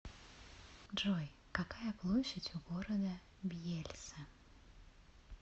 джой какая площадь у города бьельса